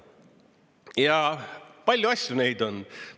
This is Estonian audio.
Ja palju asju neid on.